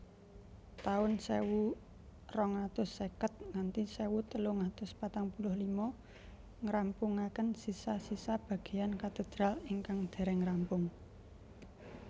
taun sewu rong atus seket nganthi sewu telung atus patang puluh lima ngrampungaken sisa sisa bageyan katedral ingkang dereng rampung